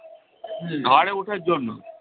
ঘাড়ে ওঠার জন্য